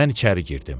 Mən içəri girdim.